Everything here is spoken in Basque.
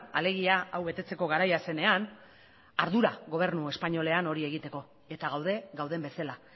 alegia hau betetzeko garaia zenean ardura gobernu espainolean hori egiteko eta gaude gauden bezala